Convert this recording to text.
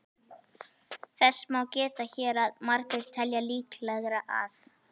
Þess má geta hér að margir telja líklegra að